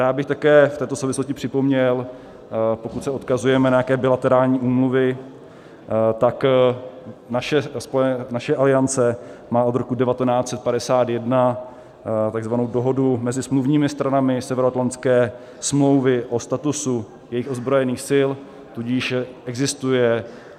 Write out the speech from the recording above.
Rád bych také v této souvislosti připomněl, pokud se odkazujeme na nějaké bilaterální úmluvy, tak naše Aliance má od roku 1951 takzvanou Dohodu mezi smluvními stranami Severoatlantické smlouvy o statusu jejich ozbrojených sil, tudíž existuje.